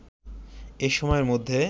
এ সময়ের মধ্যে